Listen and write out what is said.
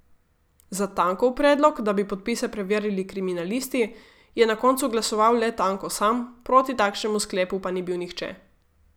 Za Tankov predlog, da bi podpise preverili kriminalisti, je na koncu glasoval le Tanko sam, proti takšnemu sklepu pa ni bil nihče.